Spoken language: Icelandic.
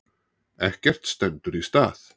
Ekkert stendur í stað.